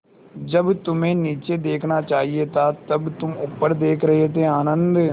जब तुम्हें नीचे देखना चाहिए था तब तुम ऊपर देख रहे थे आनन्द